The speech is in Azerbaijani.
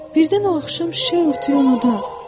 Birdən o axşam şiyə urtuyu unudar.